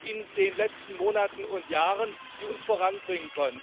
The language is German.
in den letzten Monaten und Jahren, die uns voranbringen können.